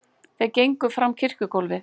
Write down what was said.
Þeir gengu fram kirkjugólfið.